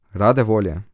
Rade volje.